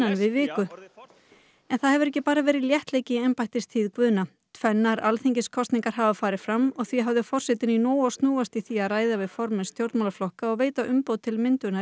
en það hefur ekki bara verið léttleiki í embættistíð Guðna tvennar alþingiskosningar hafa farið fram og því hafði forsetinn í nógu að snúast í því að ræða við formenn stjórnmálaflokka og veita umboð til myndunar ríkisstjórnar